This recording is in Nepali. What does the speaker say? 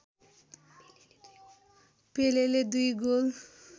पेलेले दुई गोल